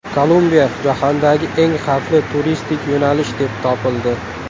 Kolumbiya jahondagi eng xavfli turistik yo‘nalish deb topildi.